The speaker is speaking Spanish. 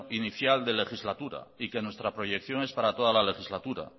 inicial de legislatura y que nuestra proyección es para toda la legislatura